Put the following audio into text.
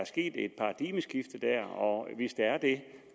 sket et paradigmeskifte der og hvis der er det